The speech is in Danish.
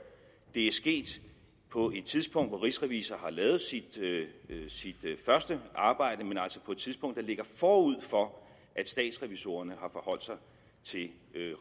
det er sket på et tidspunkt hvor rigsrevisor har lavet sit første arbejde men altså på et tidspunkt der ligger forud for at statsrevisorerne har forholdt sig til